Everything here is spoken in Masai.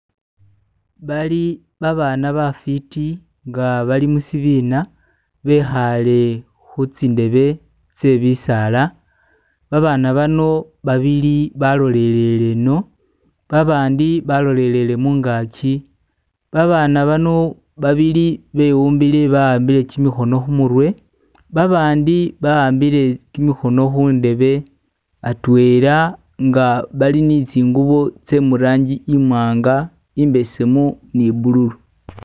Bali abana bafiti nga bali mushibina bekhaale ku tsindebe tee bisala babana bano babili balolele eno, abandi balolele mungaji babana bano babili bewumbile bawambile kimikhono khumurwe, abandi bawambile kimikhono khundebe atwela nga bali ni tsingubo tsee mulangi imwanga, imbesemu ni bululu.